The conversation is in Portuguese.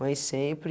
Mãe sempre,